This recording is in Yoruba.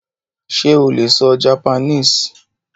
Sé o lè sọ Japanese?